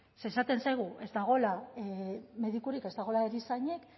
ze esaten zaigu ez dagoela medikurik ez dagoela erizainik